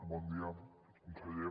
bon dia conseller